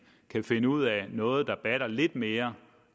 kan finde ud af noget der batter lidt mere